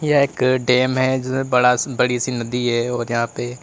एक डैम ज बाड़ा बड़ी सी नदी है और यहां पे--